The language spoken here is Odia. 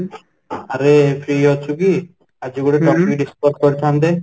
ଆରେ free ଅଛୁ କି ? ଆଜି ଗୋଟେ topic discuss କରିଥାନ୍ତେ